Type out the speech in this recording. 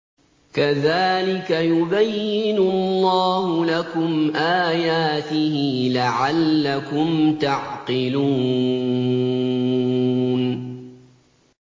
كَذَٰلِكَ يُبَيِّنُ اللَّهُ لَكُمْ آيَاتِهِ لَعَلَّكُمْ تَعْقِلُونَ